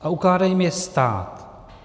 A ukládá jim je stát.